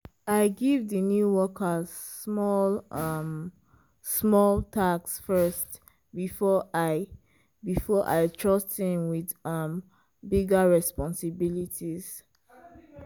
i give di new worker small um small tasks first before i before i trust him with um bigger responsibilities.